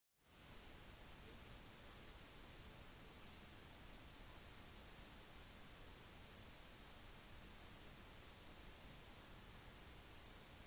beijing skal ha åpnings- og avslutningsseremoniene og innendørs iskonkurranser